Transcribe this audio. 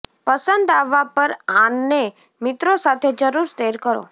પસંદ આવવા પર આને મિત્રો સાથે જરૂર શેર કરો